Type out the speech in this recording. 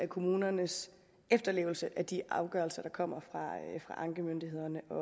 kommunernes efterlevelse af de afgørelser der kommer fra ankemyndighederne og